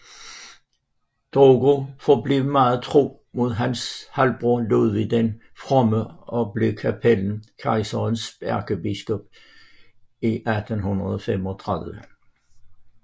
Drogo forblev meget tro mod hans halvbror Ludvig den Fromme og blev kapellan kejserens ærkebiskop i 835